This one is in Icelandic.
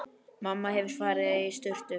Mamma hefur farið í sturtu.